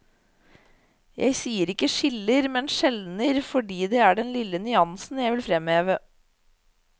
Jeg sier ikke skiller, men skjelner, fordi det er den lille nyansen jeg vil fremheve.